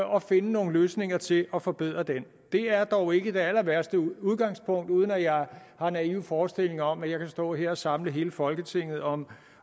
og finde nogle løsninger til at forbedre den det er dog ikke det allerværste udgangspunkt uden at jeg har en naiv forestilling om at jeg kan stå her og samle hele folketinget om